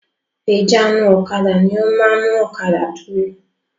Ìjánu-ọ̀kadà ni ó máa ń mú ọ̀kadà dúró.